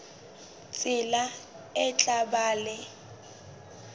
tsela e tla ba le